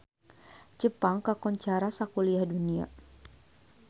Jepang kakoncara sakuliah dunya